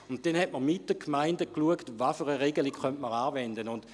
Man schaute dann zusammen mit den Gemeinden, welche Regelung man anwenden könnte.